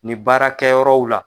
Ni baara kɛ yɔrɔ la.